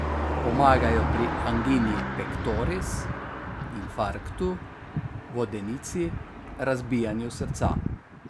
Pomagajo pri angini pektoris, infarktu, vodenici, razbijanju srca.